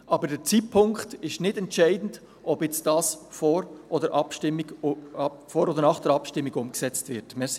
Aber der Zeitpunkt ist nicht entscheidend, ob das jetzt vor oder nach der Abstimmung umgesetzt wird.»